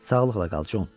Sağlıqla qal, Con.